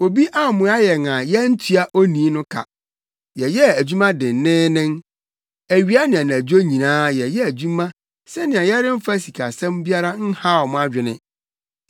Obi ammoa yɛn a yɛantua onii no ka. Yɛyɛɛ adwuma denneennen. Awia ne anadwo nyinaa yɛyɛɛ adwuma sɛnea yɛremfa sikasɛm biara nhaw mo adwene.